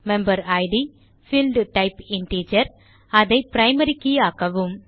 member id பீல்ட்டைப் integer இதை primary key ஆக்கவும்